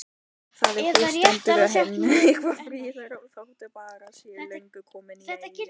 Það hús stendur enn og er auðvitað friðað, þótt bærinn sé löngu kominn í eyði.